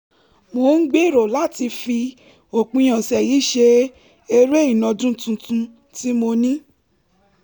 mo ń gbèrò láti fi òpin ọ̀sẹ̀ yìí ṣe eré ìnàjú tuntun tí mo ní